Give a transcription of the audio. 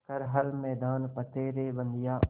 कर हर मैदान फ़तेह रे बंदेया